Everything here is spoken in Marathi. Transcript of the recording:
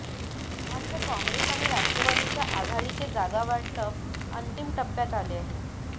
मात्र काँग्रेस आणि राष्ट्रवादीच्या आघाडीचे जागावाटप अंतिम टप्प्यात आले आहे